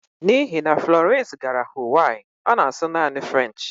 N'ihi na Florence gara Huwaii, ọ na-asụ naanị French